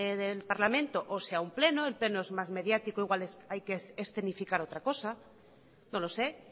del parlamento o sea un pleno el pleno es más mediático e igual hay que escenificar otra cosa no lo sé